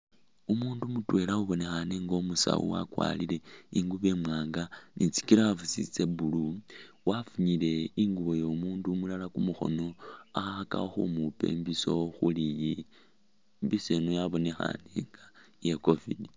Umundu mutwela ubonekhane inga umusawu wakwarile ingubo imwanga ni tsi gloves tse blue wafunyile ingubo yo mundu umulala kumukhono akhakakho khumukhupa imbiso khu [?] imbiso ino yabonekhane inga ye covid